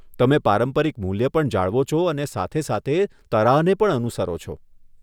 તમે પારંપરિક મૂલ્ય પણ જાળવો છો અને સાથે સાથે તરાહને પણ અનુસરો છો.